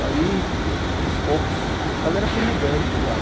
Aí, aos poucos, a galera foi mudando de lá.